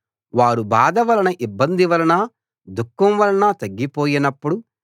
వారు బాధ వలనా ఇబ్బంది వలనా దుఃఖం వలనా తగ్గిపోయినప్పుడు